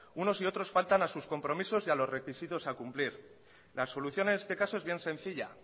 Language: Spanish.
unos y otros faltan a sus compromisos y a los requisitos a cumplir la solución en este caso es bien sencilla